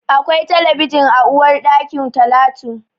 Akwai talabijin a uwarɗakin Talatu.